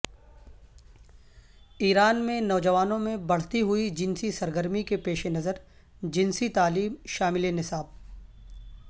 ایران میں نوجوانوں میں بڑھتی ہوئی جنسی سرگرمی کے پیش نظر جنسی تعلیم شامل نصاب